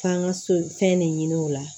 K'an ka so fɛn ne ɲini o la